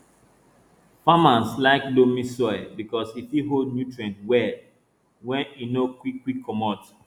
farmers like loamy soil because e fit hold nutrients well weN e no quick quick comot